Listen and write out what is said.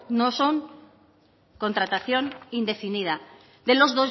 no es contratación indefinida de los